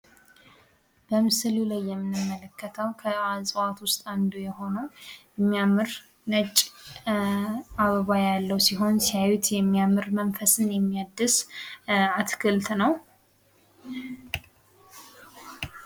በምሥሉ ላይ የምንመለከተዉ ከእጽዋት ውስጥ አንዱ የሆነው የሚያምር ነጭ አበባ ያለው ሲሆን፤ ሲያዩት የሚያምር መንፈስን የሚያድስ አትክልት ነው።